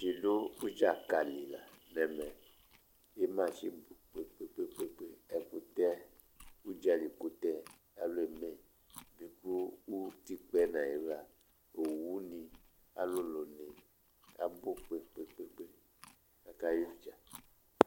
Alʋɛdìní du ʋdza ka li la nʋ ɛmɛ Ima ati abʋ kpe kpe kpe kpe Ɛkʋtɛ, ʋdzali kʋtɛ alu eme ye alu eme bi kʋ ʋtikpa nʋ ayiɣla owu ni alulu ni abʋ kpe kpe kpe kpe Aka yɛ ʋdza